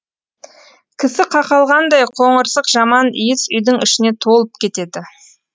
кісі қақалғандай қоңырсық жаман иіс үйдің ішіне толып кетеді